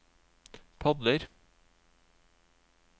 padler